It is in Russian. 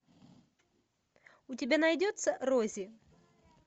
у тебя найдется рози